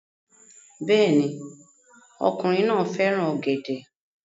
Bẹ́ẹ̀ ni, ọkùnrin náà fẹ́ràn ọ̀gẹ̀dẹ̀